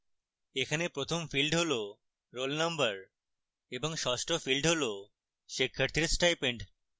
এখানে প্রথম field roll roll number এবং ষষ্ট field roll শিক্ষার্থীর stipend